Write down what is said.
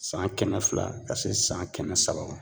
San kɛmɛ fila ka se san kɛmɛ saba ma